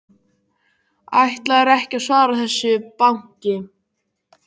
Ætlar ekki að svara þessu banki.